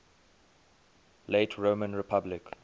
late roman republic